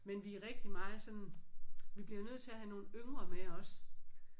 Men vi er rigtig meget sådan vi bliver nødt til at have nogle yngre med også